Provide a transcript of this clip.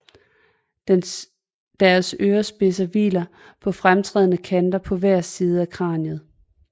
Deres ørespidser hviler på fremtrædende kanter på hver side af kraniet